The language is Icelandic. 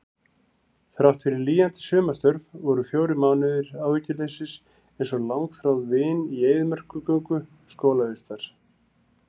Þráttfyrir lýjandi sumarstörf voru fjórir mánuðir áhyggjuleysis einsog langþráð vin í eyðimerkurgöngu skólavistar.